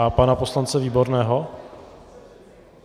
A pana poslance Výborného?